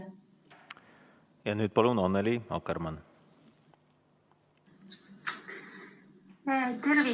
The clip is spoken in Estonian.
Ja nüüd palun Annely Akkermann!